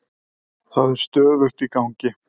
Það er stöðugt í gangi.